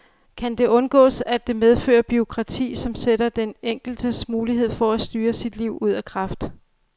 Kan det undgås at det medfører bureaukrati, som sætter den enkeltes mulighed for at styre sit liv ud af kraft?